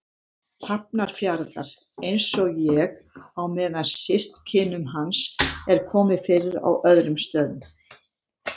Hafnarfjarðar, einsog ég, á meðan systkinum hans er komið fyrir á öðrum stöðum.